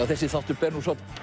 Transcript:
þessi þáttur ber